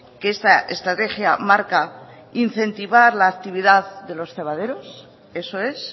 que esta estrategia marca incentivar la actividad de los cebaderos eso es